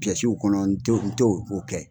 kɔnɔ nton nton o kɛ.